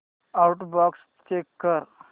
outbox check कर